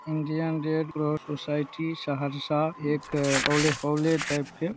Indian Red Cross Society Saharsa एक college type के --